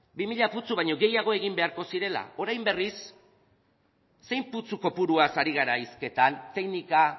bi mila putzu baino gehiago egin beharko zirela orain berriz zein putzu kopuruaz ari gara hizketan teknika